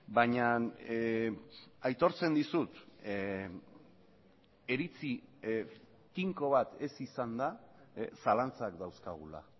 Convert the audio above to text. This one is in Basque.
baina aitortzen dizut iritzi tinko bat ez izanda zalantzak dauzkagula